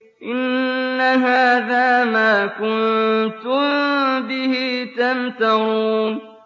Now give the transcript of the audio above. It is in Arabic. إِنَّ هَٰذَا مَا كُنتُم بِهِ تَمْتَرُونَ